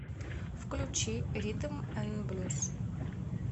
включи ритм н блюз